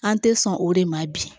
An tɛ sɔn o de ma bi